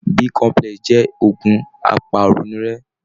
B complex jẹ́ ògun apàrònúrẹ́.